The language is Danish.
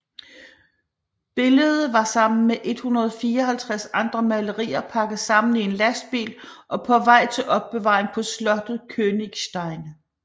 Billede var sammen med 154 andre malerier pakket sammen i en lastbil og på vej til opbevaring på slottet Königstein